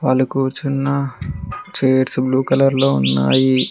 వాళ్లు కూర్చున్నా chairs blue colour లో ఉన్నాయి.